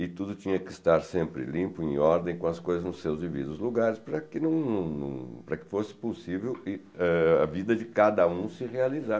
E tudo tinha que estar sempre limpo, em ordem, com as coisas nos seus divididos lugares, para que não não, para que fosse possível eh a vida de cada um se realizar.